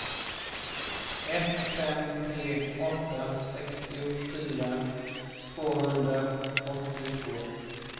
ett fem tre åtta sextiofyra tvåhundraåttiotvå